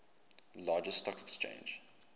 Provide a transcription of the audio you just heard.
largest stock exchange